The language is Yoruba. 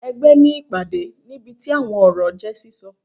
Ẹgbẹ ní ìpàdé, níbití awọn ọrọ je sísọ.